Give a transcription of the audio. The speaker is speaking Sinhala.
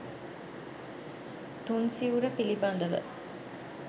තුන් සිවුර පිළිබඳව